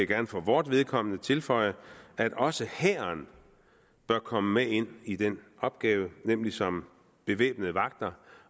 gerne for vores vedkommende tilføje at også hæren bør komme med ind i den opgave nemlig som bevæbnede vagter